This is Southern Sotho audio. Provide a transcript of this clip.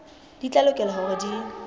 di tla lokela hore di